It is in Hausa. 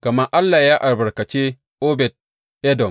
Gama Allah ya albarkace Obed Edom.